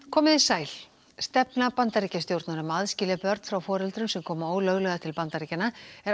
komiði sæl stefna Bandaríkjastjórnar um að aðskilja börn frá foreldrum sem koma ólöglega til Bandaríkjanna er